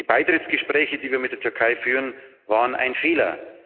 Die Beitrittsgespräche, die wir mit der Türkei führen, waren ein Fehler.